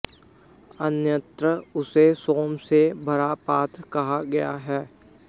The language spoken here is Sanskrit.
अन्यत्र उसे सोम से भरा पात्र कहा गया है